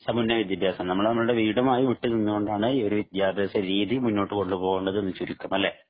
നമ്മൾ നമ്മളുടെ വീടുമായി വിട്ടുനിന്നുകൊണ്ടാണ് ഈ വിദ്യാഭ്യാസ രീതി മുന്നോട്ട് കൊണ്ടുപോകേണ്ടതെന്ന് ചുരുക്കം അല്ലെ